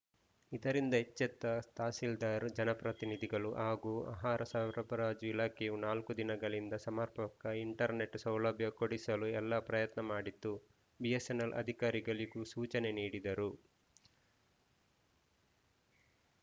ಇದರಿಂದ ಎಚ್ಚೆತ್ತ ತಹಸೀಲ್ದಾರ್‌ ಜನಪ್ರತಿನಿಧಿಗಳು ಹಾಗೂ ಆಹಾರ ಸರಬರಾಜು ಇಲಾಖೆಯು ನಾಲ್ಕು ದಿನಗಳಿಂದ ಸಮರ್ಪಕ ಇಂಟರ್‌ನೆಟ್‌ ಸೌಲಭ್ಯ ಕೊಡಿಸಲು ಎಲ್ಲ ಪ್ರಯತ್ನ ಮಾಡಿತು ಬಿಎಸ್‌ಎನ್‌ಎಲ್‌ ಅಧಿಕಾರಿಗಳಿಗೂ ಸೂಚನೆ ನೀಡಿದ್ದರು